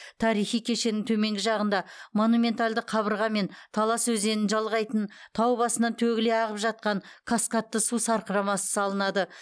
тарихи кешеннің төменгі жағында монументалды қабырға мен талас өзенін жалғайтын тау басынан төгіле ағып жатқан каскадты су сарқырамасы салынады